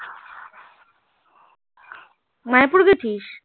মায়াপুর গেছিস